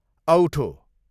औठो